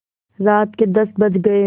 रात के दस बज गये